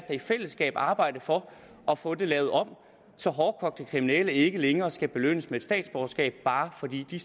i fællesskab arbejde for at få det lavet om så hårdkogte kriminelle ikke længere skal belønnes med et statsborgerskab bare fordi de